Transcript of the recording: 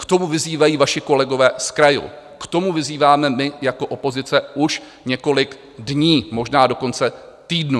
K tomu vyzývají vaši kolegové z krajů, k tomu vyzýváme my jako opozice už několik dní, možná dokonce týdnů.